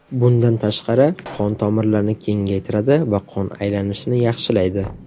Bundan tashqari, qon tomirlarini kengaytiradi va qon aylanishini yaxshilaydi.